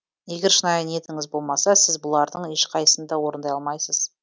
егер шынайы ниетіңіз болмаса сіз бұлардың ешқайсысын да орындай алмайсыз